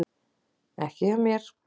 Ekki hjá mér.